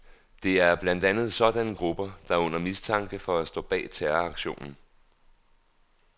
Det er blandt andet sådanne grupper, der er under mistanke for at stå bag terroraktionen.